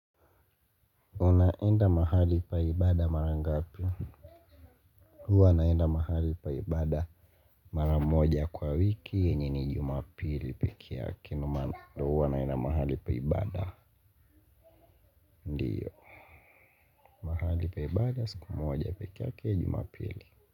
Unaenda mahali pa ibada mara ngapi huwa naenda mahali pa ibada mara moja kwa wiki yenye ni jumapili pekee yake ndio huwa naenda mahali pa ibada ndiyo. Mahali pa ibada siku moja pekeyake jumapili.